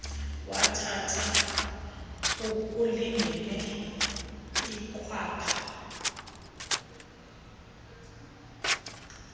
wathatha okulingene ikhwapha